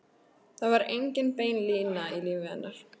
Það var engin bein lína í lífi hennar.